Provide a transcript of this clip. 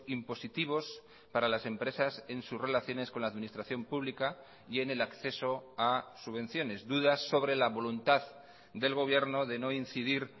impositivos para las empresas en sus relaciones con la administración pública y en el acceso a subvenciones dudas sobre la voluntad del gobierno de no incidir